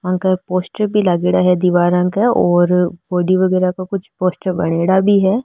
आंक पोस्टर भी लागेड़ा है दिवारा क और बॉडी वगेरा का कुछ पोस्टर बनेड़ा भी है।